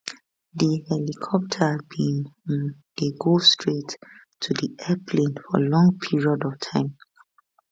di helicopter bin um dey go straight to di airplane for long period of time